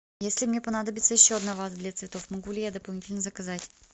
если мне понадобится еще одна ваза для цветов могу ли я дополнительно заказать